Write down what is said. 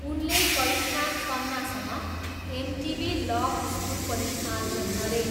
उनले करिश्मा तन्नासँग MTV love school पनि आयोजन गरे।